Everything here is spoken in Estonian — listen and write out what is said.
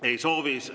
Ei soovi.